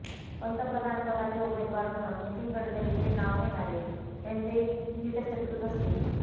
पंतप्रधान पदाचे उमेदवार म्हणून नितीन गडकरींचे नाव घेणारे त्यांचे हितशत्रूच असतील